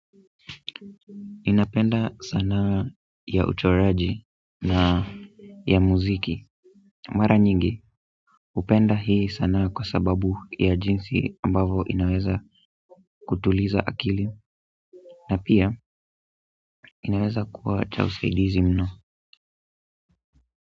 Ninapenda sanaa ya uchoraji na ya muziki mara nyingi hupenda hii sana kwa sababu ya jinsi ambavyo inaweza kutuliza akili na pia inaweza kuwa cha usaidizi mno.